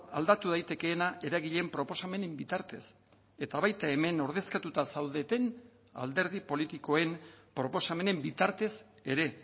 aldatu daitekeena eragileen proposamenen bitartez eta baita hemen ordezkatuta zaudeten alderdi politikoen proposamenen bitartez ere